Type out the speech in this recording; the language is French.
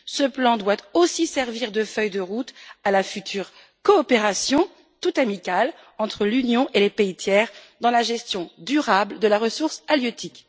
Ce plan doit aussi servir de feuille de route à la future coopération toute amicale entre l'Union et les pays tiers dans la gestion durable de la ressource halieutique.